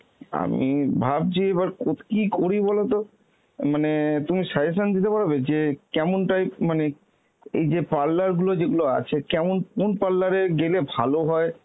আমি ভাবছি এবার কো~ কী করি বলতো, মানে তুমি suggestion দিতে পারবে যে কেমন type মানে এই যে parlour গুলো যেগুলো আছে কেমন কোন parlour এ গেলে ভালো হয়,